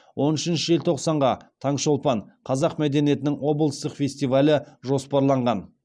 он үшінші желтоқсанға таңшолпан қазақ мәдениетінің облыстық фестивалі жоспарланған